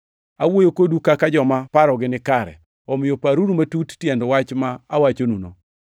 Awuoyo kodu kaka joma parogi nikare, omiyo paruru matut tiend wach ma awachonuno.